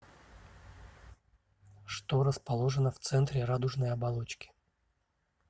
что расположено в центре радужной оболочки